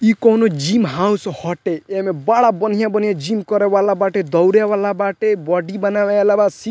इ कोवनो gym house हटे एमे बड़ा बढ़िया-बढ़िया जिम करेवाला बाटे दौड़े वाला बाटे बॉडी बनावे वाला बा सी --